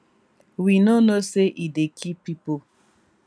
we no know say e dey kill pipo